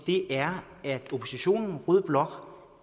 er at oppositionen rød blok